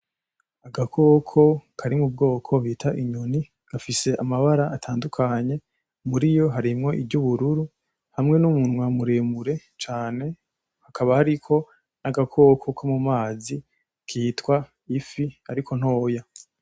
Agakoko kari mubwoko bita inyoni gafise amabara atandukanye muriyo harimwo iryubururu hamwe n'umunwa muremure cane hakaba hariko n'agakoko ko mu mazi kitwa ifi ariko ntoya.